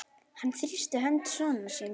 Hann þrýsti hönd sonar síns.